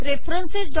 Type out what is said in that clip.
reference